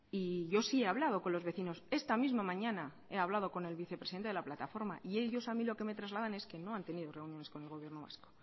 y yo sí he hablado con los vecinos esta misma mañana he hablado con el vicepresidente de la plataforma y ellos a mí lo que me trasladan es que no han tenido reuniones con el gobierno vasco